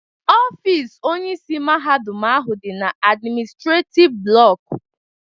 Ọfịs Onyeisi Mahadum ahụ dị na admịnịstrétif blọku